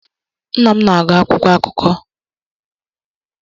Nna m na-agụ akwụkwọ akụkọ.